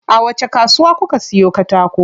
A wacce kasuwa kuka siyo katako?